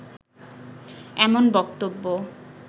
এমন বক্তব্য